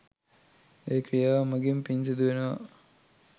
ඒ ක්‍රියාව මඟින් පින් සිදුවෙනවා.